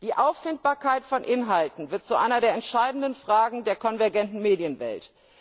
Die Auffindbarkeit von Inhalten wird zu einer der entscheidenden Fragen der konvergenten Medienwelt.